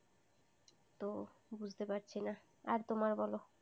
তো বুঝতে পারছি না। আর তোমার বলো?